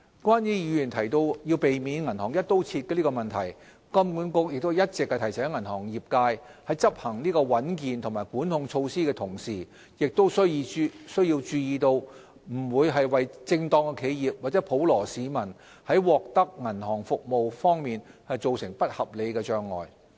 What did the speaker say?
關於議員提到要避免銀行"一刀切"的問題，金管局一直提醒銀行業界在執行穩健的管控措施的同時，亦須注意不要為正當企業及普羅市民在獲得銀行服務方面造成不合理的障礙。